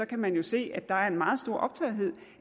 kan man jo se at der er en meget stor optagethed